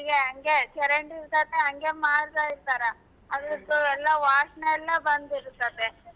ಹಂಗೆ ಚರಂಡಿ ಇರ್ತದೆ ಹಂಗೆ ಮಾಡ್ತಾ ಇರ್ತಾರೆ ಅದ್ರದ್ದು ಎಲ್ಲಾ ವಾಸ್ನೆ ಎಲ್ಲಾ ಬಂದಿರ್ತದೆ.